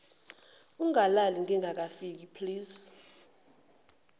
ungalali ngingakafiki please